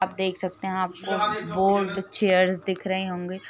आप देख सकते है आपको बोल्ड चेयर्स दिख रहे होंगे।